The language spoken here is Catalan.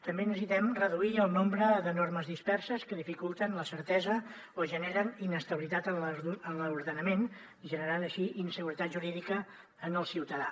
també necessitem reduir el nombre de normes disperses que dificulten la certesa o generen inestabilitat en l’ordenament generant així inseguretat jurídica al ciutadà